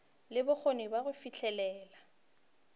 le bokgoni bja go fihlelela